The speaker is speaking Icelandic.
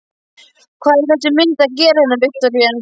Hvað er þessi mynd að gera hérna, Viktoría?